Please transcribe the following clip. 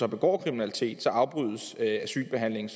begår kriminalitet afbrydes asylbehandlingen